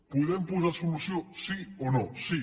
podem posar hi solució sí o no sí